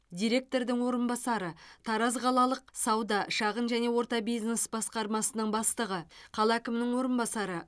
директорының орынбасары тараз қалалық сауда шағын және орта бизнес басқармасының бастығы қала әкімінің орынбасары